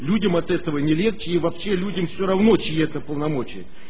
людям от этого не легче и вообще люди все равно чеи это полномочени